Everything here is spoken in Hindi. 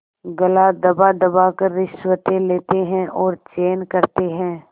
गला दबादबा कर रिश्वतें लेते हैं और चैन करते हैं